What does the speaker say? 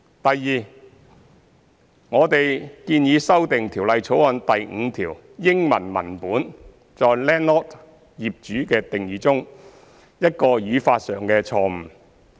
第二，我們建議修訂《條例草案》第5條英文文本中在 landlord 的定義中一個語法上的錯誤。